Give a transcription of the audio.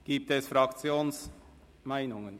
Gibt es Fraktionsmeinungen?